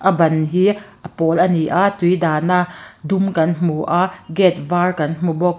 a ban hi a pawl ani a tui dah na dum kan hmu a gate var kan hmu bawk.